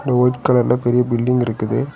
White கலர்ல பெரிய building இருக்குது.